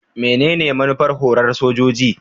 Menene manufar horar da sojoji?